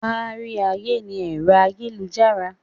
Kárí ayé ni ẹ̀rọ ayélujára.